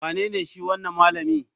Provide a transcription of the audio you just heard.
Wanene shi wanan malami?